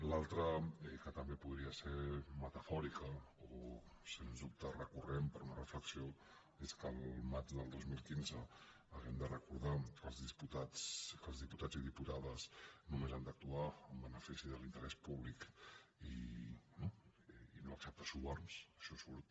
l’altra que també podria ser metafòrica o sens dubte recurrent per a una reflexió és que al maig del dos mil quinze hàgim de recordar que els diputats i diputades només han d’actuar en benefici de l’interès públic i no acceptar suborns això surt